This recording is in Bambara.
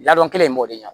Ladɔn kelen in b'o de ɲɛ